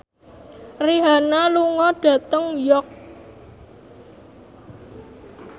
Rihanna lunga dhateng York